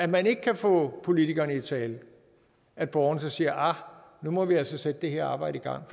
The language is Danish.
man ikke kan få politikerne tale at borgerne så siger nu må vi altså sætte det her arbejde i gang